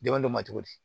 Dɛmɛ don ma cogo di